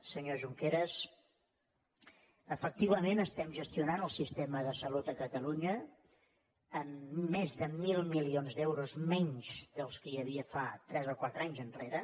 senyor junqueras efectivament estem gestionant el sistema de salut a catalunya amb més de mil milions d’euros menys dels que hi havia fa tres o quatre anys enrere